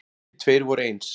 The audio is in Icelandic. Engir tveir voru eins.